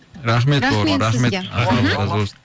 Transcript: рахмет бауырым рахмет рахмет сізге мхм алла разы болсын